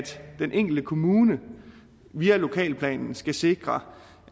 den enkelte kommune via lokalplanen skal sikre